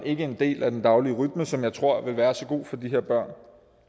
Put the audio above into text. ikke en del af den daglige rytme som jeg tror vil være så god for de her børn